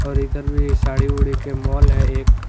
और इधर मे साड़ी उड़ी के माल है एक--